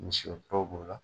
Misi t'aw bola la